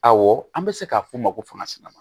Awɔ an bɛ se k'a f'u ma ko fanga sina